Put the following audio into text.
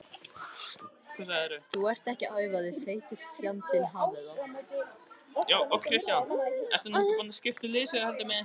Skáldin eru að æfa sig fyrir þennan mikla dag.